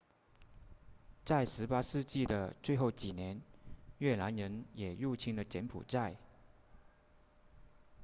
在18世纪的最后几年越南人也入侵了柬埔寨